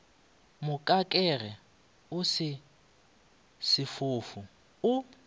mokakege o se sefofu o